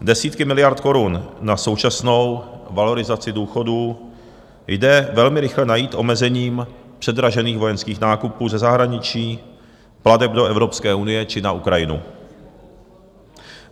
Desítky miliard korun na současnou valorizaci důchodů jde velmi rychle najít omezením předražených vojenských nákupů ze zahraničí, plateb do Evropské unie či na Ukrajinu.